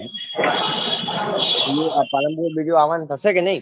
બીજું આ પાલનપુર બીજું આવવાનું થશે કે નહી'